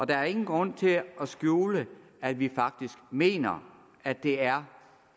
der er ingen grund til at skjule at vi faktisk mener at det er